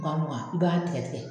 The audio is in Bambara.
Mugan mugan i b'a tigɛ tigɛ